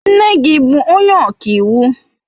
Nne gi bu onye ọka iwu?